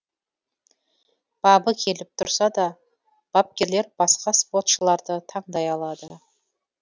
бабы келіп тұрса да бапкерлер басқа спортшыларды таңдай алады